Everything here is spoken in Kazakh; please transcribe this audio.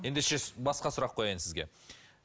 ендеше басқа сұрақ қояйын сізге